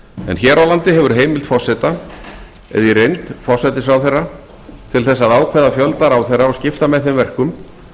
en hér á landi hefur heimild forseta eða í reynd forsætisráðherra til þess að ákveða fjölda ráðherra og skipta með þeim verkum